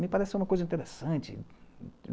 Me pareceu uma coisa interessante.